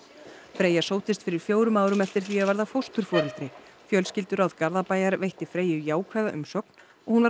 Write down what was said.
Freyja sóttist fyrir fjórum árum eftir því að verða fósturforeldri fjölskylduráð Garðabæjar veitti Freyju jákvæða umsögn og hún var